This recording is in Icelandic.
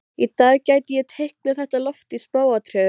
Hreinsið spergilkálið og kljúfið það í kvisti.